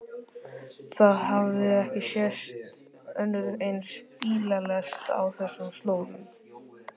Það hafði ekki sést önnur eins bílalest á þessum slóðum.